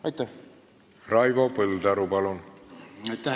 Aitäh, härra esimees!